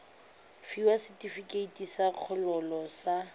fiwa setefikeiti sa kgololo sa